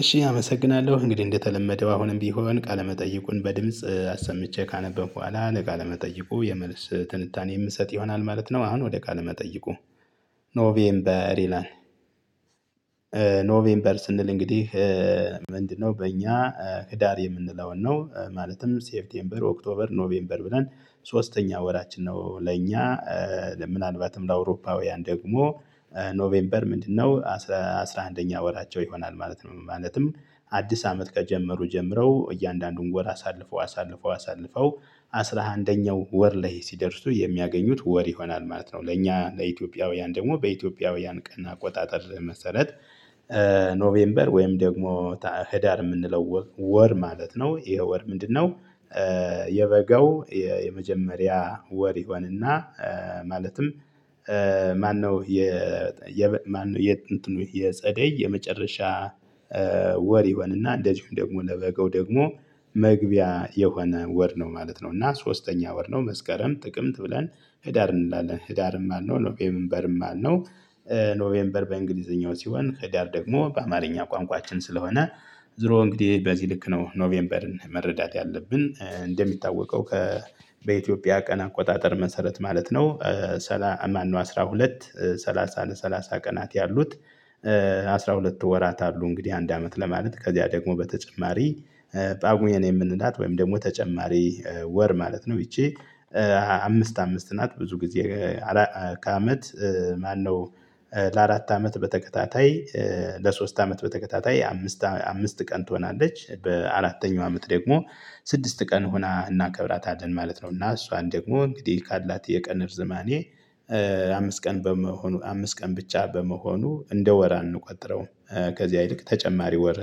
እሺ አመሰግናለሁ እንግዲህ እንደተለመደው አሁንም ቢሆን ቃለመጠይቁን በድምጽ አሰምቼ ካነበብኩ በኋላ ለቃለ መጠይቁ የመልስ ትንታኔ የምሰጥ ይሆናል ማለት ነው። አሁን ወደ ቃለ መጠየቁ ኖቬምበር ይላል። ኖቬምበር ስንል እንግዲህ ምንድነው? በእኛ ህዳር የምንለውን ነው ማለትም ሴፍቴምበር ኦክቶበር ኖቬምበር ብለን ሶስተኛ ወራችን ነው። ለእኛ ለምናልባትም ለአውሮፓውያን ደግሞ ኖቬምበር ምንድነው አስራ አንደኛ ወራቸው ይሆናል ማለት ነው። ማለትም አዲስ አመት ከጀመሩ ጀምረው እያንዳንዱን ወር አሳልፈው አሳልፈው አሳልፈው አስራ አንደኛው ወር ላይ ሲደርሱ የሚያገኙት ወር ይሆናል ማለት ነው። ለእኛ ለኢትዮጵያውያን ደሞ በኢትዮጵያውያን ቀን አቆጣጠር መሰረት። ኖቬምበር ወይም ደግሞ ህዳር ምንለው ወር ማለት ነው። ይሄ ወር ምንድነው? የበጋው የመጀመሪያ ወር ይሆንና ማለትም ማነው የጸደይ የመጨረሻ ወር ይሆንና እንደዚሁም ደግሞ ለበገው ደግሞ መግቢያ የሆነ ወር ነው። ማለት ነው እና ሶስተኛ ወር ነው መስከረም ጥቅምት ብለን ህዳር እንላለን ህዳርም አልነው ኖቬምበርም አልነው። ኖቬምበር በእንግሊዘኛው ሲሆን ህዳር ደግሞ በአማርኛ ቋንቋችን ስለሆነ ዙሮ እንግዲህ በዚህ ልክ ነው። ኖቬምበርን መረዳት ያለብን እንደሚታወቀው ከ በኢትዮጵያ ቀን አቆጣጠር መሰረት ማለት ነው። ሰላ ማነው አስራ ሁለት ሰላሳ ለሰላሳ ቀናት ያሉት? አስራ ሁለት ወራት አሉ። እንግዲህ አንድ አመት ለማለት ከዚያ ደግሞ በተጨማሪ ጳጉኤን የምንላት ወይም ደግሞ ተጨማሪ ወር ማለት ነው። ይቺ አምስት አምስት ናት ብዙ ግዜ ከአመት ማነው? ለአራት አመት በተከታታይ ለሶስት አመት በተከታታይ አምስት አምስት ቀን ትሆናለች በአራተኛው አመት ደግሞ ስድስት ቀን ሆና እናከብራታለን ማለት ነው። እና እሷን ደግሞ እንግዲህ ካላት የቀን እርዝማኔ አምስ ቀን በመሆኑ አምስ ቀን ብቻ በመሆኑ እንደ ወር አንቆጥረውም። ከዚያ ይልቅ ተጨማሪ ወር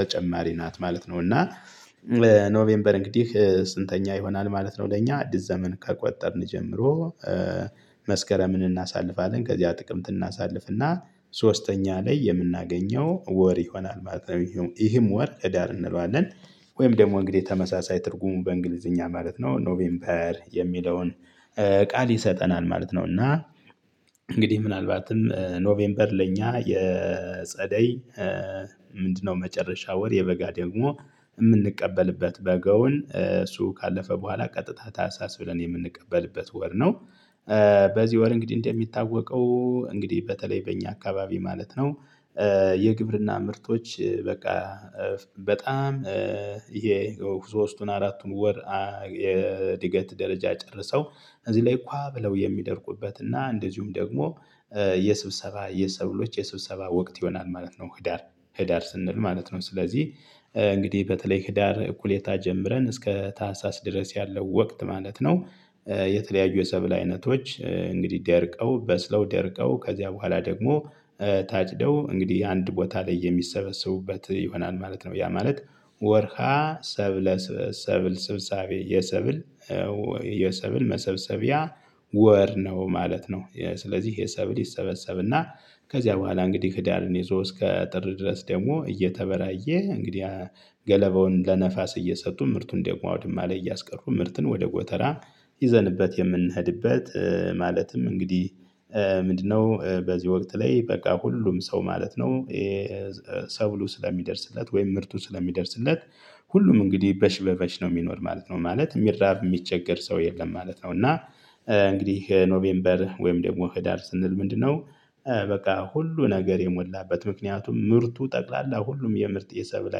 ተጨማሪ ናት ማለት ነው። እና ኖቬምበር እንግዲህ ስንተኛ ይሆናል ማለት ነው። ለኛ አዲስ ዘመን ከቆጠርን ጀምሮ። መስከረምን እናሳልፋለን ከዚያ ጥቅምት እናሳልፍና ሶስተኛ ላይ የምናገኘው ወር ይሆናል ማለት ነው ይህም ወር ህዳር እንለዋለን። ወይም ደሞ እንግዲህ ተመሳሳይ ትርጉሙ በእንግሊዝኛ ማለት ነው ኖቬምበር የሚለውን ቃል ይሰጠናል ማለት ነው። እና እንግዲህ ምናልባትም ኖቬምበር ለኛ የጸደይ ምንድነው? መጨረሻ ወር የበጋ ደግሞ እምንቀበልበት በጋውን እሱ ካለፈ በኋላ ቀጥታ ታህስስ ብለን የምንቀበልበት ወር ነው። በዚህ ወር እንግዲህ እንደሚታወቀው እንግዲህ በተለይ በእኛ አካባቢ ማለት ነው። የግብርና ምርቶች በቃ በጣም ይሄ ሶስቱን አራቱን ወር የድገት ደረጃ ጨርሰው እዚህ ላይ ካ ብለው የሚደርቁበት እና እንደዚሁም ደግሞ የስብሰባ የሰብሎች የስብሰባ ወቅት ይሆናል ማለት ነው። ህዳር ህዳር ስንል ማለት ነው ስለዚህ እንግዲህ በተለይ ህዳር እኩሌታ ጀምረን እስከ ታህሳስ ድረስ ያለው ወቅት ማለት ነው። የተለያዩ የሰብል አይነቶች እንግዲህ ደርቀው በስለው ደርቀው ከዚያ በኋላ ደግሞ ታጭደው እንግዲህ አንድ ቦታ ላይ የሚሰበሰቡበት ይሆናል ማለት ነው። ያ ማለት ወርሃ ሰብለ ሰብል ስብሳቤ የሰብል የሰብል መሰብሰቢያ ወር ነው ማለት ነው። ስለዚህ የሰብል ይሰበሰብና ከዚያ በኋላ እንግዲህ ህዳርን ይዞ እስከ ጥር ድረስ ደሞ እየተበራየ እንግዲህ ገለባውን ለነፋስ እየሰጡ ምርቱን ደግሞ አውድማ ላይ እያስቀሩ ምርቱን ወደ ጎተራ ይዘንበት የምንሄድበት ማለትም እንግዲህ ምንድነው በዚህ ወቅት ላይ በቃ ሁሉም ሰው ማለት ነው። ሰብሉ ስለሚደርስለት ወይም ምርቱ ስለሚደርስለት ሁሉም እንግዲህ በሽ በሽ ነው ሚኖር ማለት ነው። ማለት ሚራብ ሚቸገር ሰው የለም ማለት ነው። እና እንግዲህ ኖቬምበር ወይም ደግሞ ህዳር ስንል ምንድነው በቃ ሁሉ ነገር የሞላበት ምክንያቱም ምርቱ ጠቅላላ ሁሉም የምርት የሰብል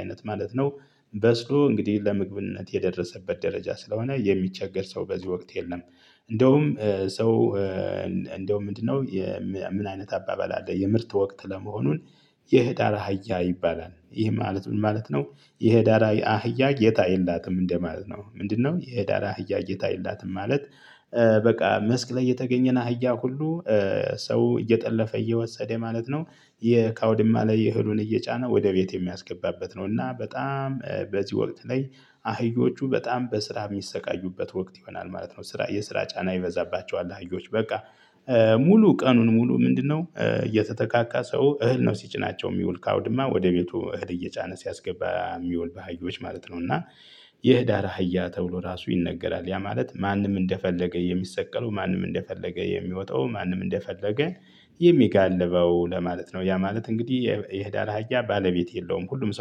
አይነት ማለት ነው። በስሎ እንግዲህ ለምግብነት የደረሰበት ደረጃ ስለሆነ የሚቸገር ሰው በዚህ ወቅት የለም። እንዳውም ሰው እንዳውም ምንድነው? ምን አይነት አባባል አለ የምርት ወቅት ለመሆኑን የህዳር አህያ ይባላል ይህ ማለት ምን ማለት ነው? የህዳር አህያ ጌታ የላትም እንደማለት ነው። ምንድነው? የህዳር አህያ እይታ የላትም ማለት በቃ መስክ ላይ የተገኘን አህያ ሁሉ ሰው እየጠለፈ እየወሰደ ማለት ነው። ከአውድማ ላይ የእህሉን እየጫነ ወደ ቤት የሚያስገባበት ነው። እና በጣም በዚህ ወቅት ላይ አህዮቹ በጣም በስራ ሚሰቃዩበት ወቅት ይሆናል ማለት ነው። ስራ የስራ ጫና ይበዛባቸዋል አህዮች በቃ ሙሉ ቀኑን ሙሉ ምንድነው የተተካካ ሰው እህል ነው ሲጭናቸው ሚውል ካውድማ ወደ ቤቱ እህል እየጫነ ሲያስገባ ሚውል ባህዮች ማለት ነው። እና የህዳር አህያ ተብሎ ራሱ ይነገራል ያ ማለት ማንም እንደፈለገ የሚሰቀለው ማንም እንደፈለገ የሚወጣው ማንም እንደፈለገ የሚጋልበው ለማለት ነው። ያ ማለት እንግዲህ የህዳር አሀያ ባለቤት የለውም። ሁሉም ሰው